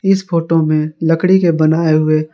इस फोटो में लकड़ी के बनाए हुए--